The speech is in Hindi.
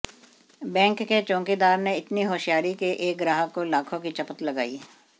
बैंक के चौकीदार ने इतनी होशियारी के एक ग्राहक को लाखों की चपत लगाई